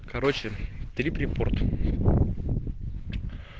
короче трип репорт